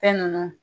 Fɛn ninnu